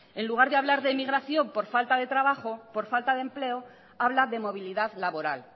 en lugar de hablar de emigración por falta de trabajo por falta de empleo habla de movilidad laboral